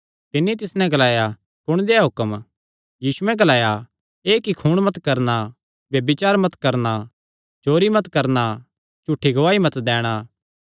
तिन्नी तिस नैं ग्लाया कुण देहया हुक्म यीशुयैं ग्लाया एह़ कि खून मत करणा ब्यभिचार मत करणा चोरी मत करणा झूठी गवाही मत दैणा